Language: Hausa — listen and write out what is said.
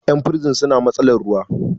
yan bursin suna matsalar ruwa